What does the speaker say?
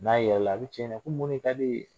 N'a yɛlɛla a bi cɛ ɲininka ko mun de ka di e ye ?